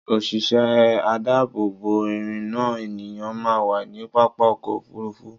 Òṣìṣẹ́ adáàbò bò ìrìnnà ènìyàn máa wà ní pápá ọkọ̀ Òfurufú.